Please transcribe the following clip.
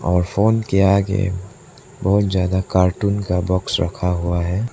और फोन के आगे बहुत ज्यादा कार्टून का बॉक्स रखा हुआ है।